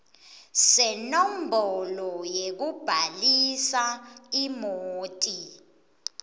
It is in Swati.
senombolo yekubhalisa imoti